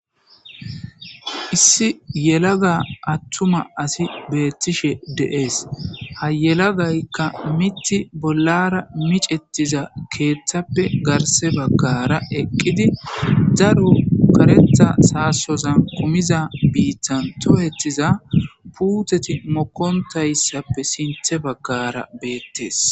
issi yelaga attuma asi beettishe de7ees ha yelagaykka mitti bollara micettiza keeththappe garse baggara eqqidi daru karetha saasoza kumiza biittan tohetiza puutheti mokontayssappe sinthe baggara beettes